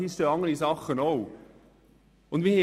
Hier stehen nämlich auch noch andere Dinge.